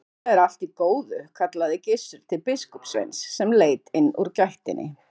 Þetta er allt í góðu, kallaði Gizur til biskupssveins sem leit inn úr gættinni.